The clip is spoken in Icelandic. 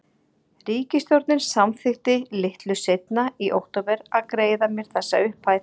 Ríkisstjórnin samþykkti litlu seinna, í október, að greiða mér þessa upphæð.